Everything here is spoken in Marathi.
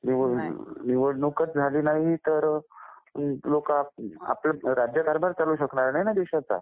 निवडणूकच झाली नाही तर आपला राज्यकारभारच चालू शकणार नाही ना देशाचा